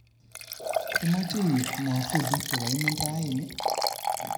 Imache iib mwafulit kogaimen raini